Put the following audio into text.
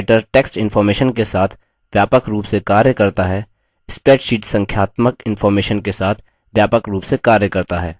जिस तरह writer text information के साथ व्यापक रूप से कार्य करता है spreadsheet संख्यात्मक इंफॉर्मेशन के साथ व्यापक रूप से कार्य करता है